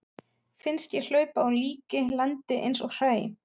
Finnst ég hlaupa á líki, landið eins og hræ.